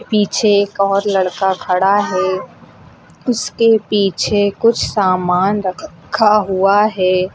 पीछे एक और लड़का खड़ा है उसके पीछे कुछ सामान रखा हुआ है।